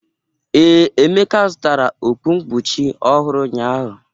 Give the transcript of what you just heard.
Ee, Emeka zụtara okpu nkpuchi ọhụrụ ụnyahụ.